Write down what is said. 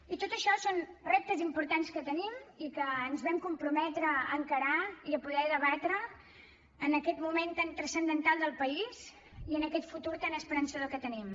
i tot això són reptes importants que tenim i que ens vam comprometre a encarar i a poder debatre en aquest moment tan transcendental del país i en aquest futur tan esperançador que tenim